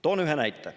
Toon ühe näite.